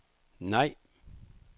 nej